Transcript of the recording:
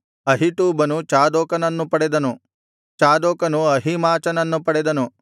ಅಹೀಟೂಬನು ಚಾದೋಕನನ್ನು ಪಡೆದನು ಚಾದೋಕನು ಅಹೀಮಾಚನನ್ನು ಪಡೆದನು